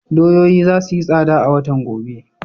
Doyoyi za su yi tsada a watan gobe.